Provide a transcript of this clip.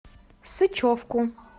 сычевку